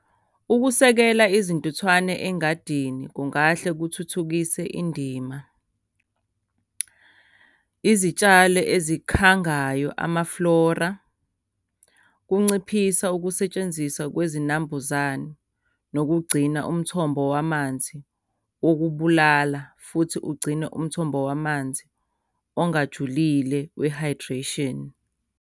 Ukusekela izintuthwane engadini kungahle kuthuthukise indima. Izitshalo ezikhangayo, ama-flora, kunciphisa ukusetshenziswa kwezinambuzane, nokugcina umthombo wamanzi wokubulala, futhi ugcine umthombo wamanzi ongajulile we-hydration.